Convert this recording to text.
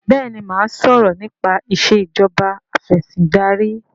béèni má sọrọ nipa Ìṣèjọba Afẹ̀sìndarí.